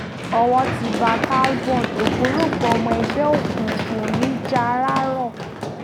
owó ti bá talborn ògbólógbòó ọmọ ẹgbẹ́ òkùnkùn nì járàró